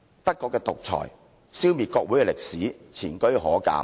德國的獨裁，消滅國會的歷史，前車可鑒。